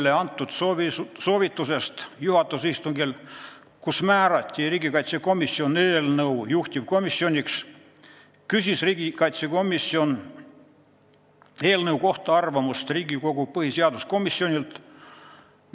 Tulenevalt Riigikogu juhatuse poolt 2018. aasta 18. detsembril riigikaitsekomisjonile antud soovitusest küsida eelnõu kohta arvamust Riigikogu põhiseaduskomisjonilt me seda tegimegi.